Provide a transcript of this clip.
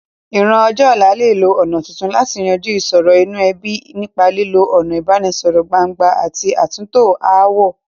Ìran ọjọ́ ọ̀la lè lo ọ̀nà tuntun láti yanjú ìsòro inú ebí, nípa lílo ọ̀nà ìbánisọ̀rọ̀ gbangba àti àtúntò ááwọ̀.